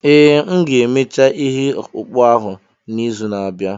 Ee, m ga-emecha ihe ọkpụkpụ ahụ n'izu na-abịa.